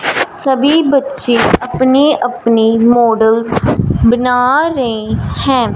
सभी बच्चे अपनी-अपनी मॉडल्स बना रहे हैं।